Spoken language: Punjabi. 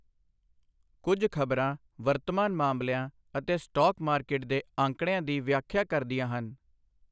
ਕੁੱਝ ਖ਼ਬਰਾਂ ਵਰਤਮਾਨ ਮਾਮਲਿਆਂ ਅਤੇ ਸਟਾਕ ਮਾਰਕੀਟ ਦੇ ਅੰਕੜਿਆਂ ਦੀ ਵਿਆਖਿਆ ਕਰਦੀਆਂ ਹਨ।